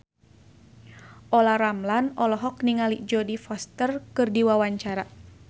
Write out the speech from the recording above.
Olla Ramlan olohok ningali Jodie Foster keur diwawancara